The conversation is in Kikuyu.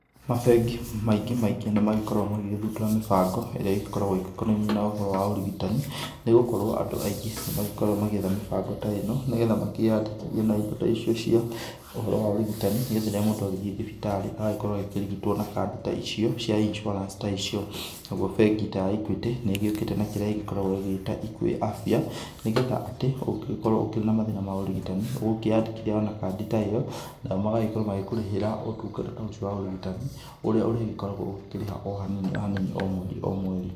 Mabengi maingĩ maingĩ nĩ magĩkoragwo magĩgĩthundũra mĩbango ĩrĩa ĩgĩkoragwo ĩgĩkonainie na ũhoro wa ũrigitani nĩ gũkorwo andũ aingĩ nĩ magĩkoragwo magĩetha mĩbango ta ĩno nĩgetha makĩandĩkithie na indo ta icio cia ũhoro wa ũrigitani nĩgetha rĩrĩa mũndũ agĩgĩthiĩ thibitari agagĩkorwo akĩrigitwo na kadi ta icio cia Insuarance ta icio, nayo bengi ta ya Equity nĩ ĩgĩũkĩte na kĩrĩa ĩkoragwo ĩgĩta Equity Afia nĩgetha atĩ ũngĩkorwo ũkĩrĩ na mathina ma ũrigitani ũgũkĩandĩkithia o na kadi ta ĩyo nao magakorwo magĩkũrihĩra ũtungata ta ũcio wa ũrigitani ũrĩa ũrĩgĩkoragwo ũkĩrĩha o hanini o hanini o mweri o mweri.